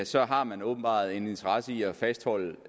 så har man åbenbart en interesse i at fastholde